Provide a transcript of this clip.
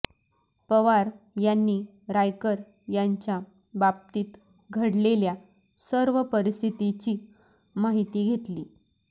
पवार यांनी रायकर यांच्या बाबतीत घडलेल्या सर्व परिस्थितीची माहिती घेतली